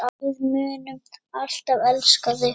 Við munum alltaf elska þig.